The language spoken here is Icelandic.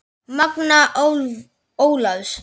Magnea Ólafs.